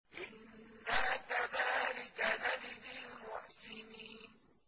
إِنَّا كَذَٰلِكَ نَجْزِي الْمُحْسِنِينَ